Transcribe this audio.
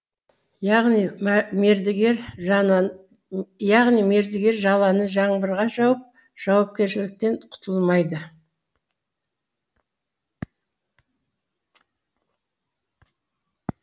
яғни мердігер жаланы жаңбырға жауып жауапкершіліктен құтылмайды